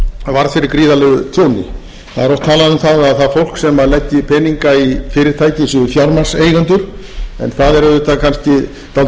varð fyrir gríðarlegu tjóni það er oft talað um að það fólk sem leggi peninga í fyrirtæki séu fjármagnseigendur en það er auðvitað kannski dálítið